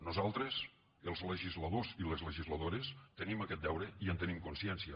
nosaltres els legisladors i les legisladores tenim aquest deure i en tenim consciència